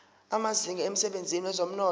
amazinga emsebenzini wezomnotho